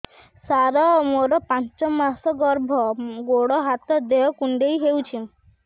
ସାର ମୋର ପାଞ୍ଚ ମାସ ଗର୍ଭ ଗୋଡ ହାତ ଦେହ କୁଣ୍ଡେଇ ହେଉଛି